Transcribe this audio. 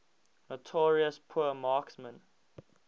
notorious poor marksmen